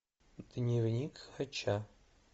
дневник хача